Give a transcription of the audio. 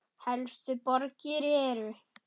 Helstu borgir eru